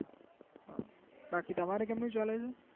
બાકી તમારે કેમનું ચાલે છે